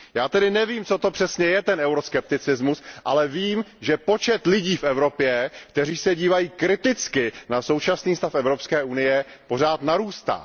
Já tedy nevím, co to přesně je, ten euroskepticismus, ale vím, že počet lidí v Evropě, kteří se dívají kriticky na současný stav Evropské unie, pořád narůstá.